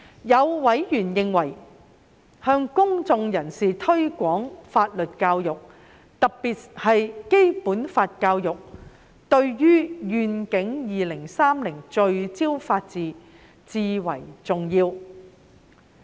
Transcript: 有委員認為向公眾人士推廣法律教育，特別是《基本法》教育，對於"願景 2030—— 聚焦法治"至為重要。